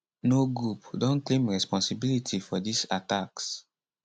no group don claim responsibility for dis attacks